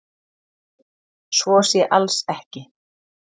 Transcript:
Svo sé alls ekki